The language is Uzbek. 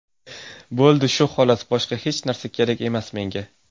Bo‘ldi, shu xolos, boshqa hech narsa kerak emas menga.